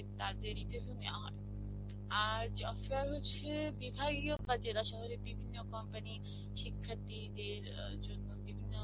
তাদের interview নেওয়া হয়. আর, job fair হচ্ছে বা জেলা শহরের বিভিন্ন company র শিক্ষার্থী দের জন্যে বিভিন্ন